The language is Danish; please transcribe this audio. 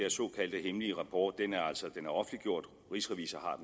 såkaldte hemmelige rapport er offentliggjort og rigsrevisor